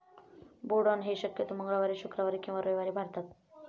बोडण हे शक्यतो मंगळवारी, शुक्रवारी किंवा रविवारी भारतात.